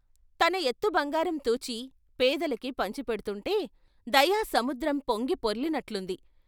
తన ఎత్తు బంగారం తూచి పేదలకి పంచిపెడ్తుంటే దయా సముద్రం పొంగి పొర్లినట్టుంది.